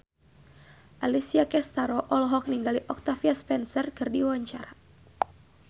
Alessia Cestaro olohok ningali Octavia Spencer keur diwawancara